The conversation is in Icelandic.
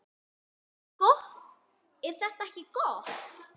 Er þetta ekki gott?